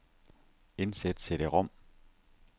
Indsæt cd-rom.